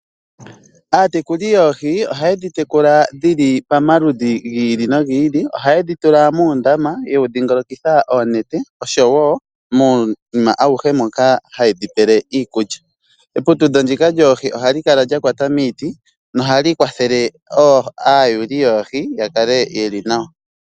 Aatekuli yoohi ohaye dhi tekula dhili pamaludhi gi ili nogi ili. Ohaye dhi tula muundama yewu dhingolokitha oonete osho wo muunima awuhe moka haye dhi pele iikulya. Eputudho ndika lyoohi ohali kala lyakwata miiti nohali kwathele aayuuli yoohi ya kale yeli nawa.